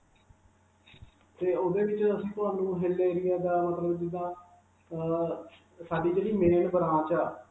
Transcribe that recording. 'ਤੇ ਉਸਦੇ ਵਿਚ ਅਸੀਂ ਤੁਹਾਨੂੰ hill area ਦਾ ਮਤਲਬ ਜਿੱਦਾਂ ਅਅ ਸਾਡੀ ਜਿਹੜੀ main branch ਹੈ